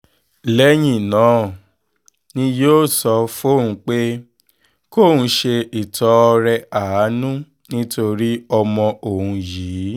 lẹ́yìn náà ni yóò sọ fóun pé kóun ṣe ìtọrẹ àánú nítorí ọmọ òun yìí